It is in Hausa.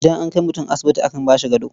Idan an kai mutum asibiti akan ba shi gado.